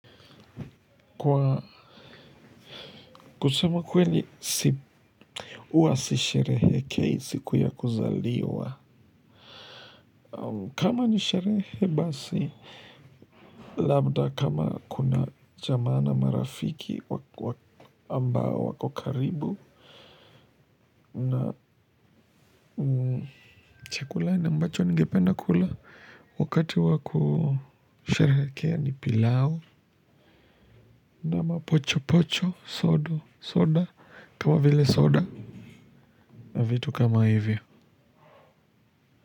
Kwa kusema kweli huwa sisherehekei siku ya kuzaliwa kama ni sherehe basi. Labda kama kuna jamaa marafiki amabo wako karibu na chakula ambacho ningependa kula wakati wa kusherehekea ni pilau na mapochopocho soda kama vile soda na vitu kama hivyo.